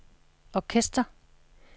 orkester